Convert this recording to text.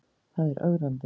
Það er ögrandi.